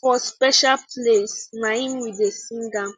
for special place naim we da sing am